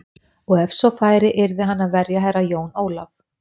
Og ef svo færi yrði hann að verja Herra Jón Ólaf.